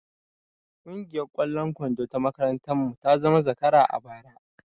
Kungiyar ƙwallon kwando na makarantar mu ta zamo zakara a bara